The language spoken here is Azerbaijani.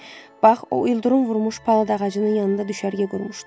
Bax, o ildırım vurmuş palıd ağacının yanında düşərgə qurmuşduq.